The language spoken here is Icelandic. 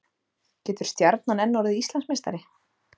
Getur Stjarnan enn orðið Íslandsmeistari?